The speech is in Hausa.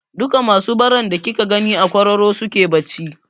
Duka masu baran da kika gani a kwararon suke bacci.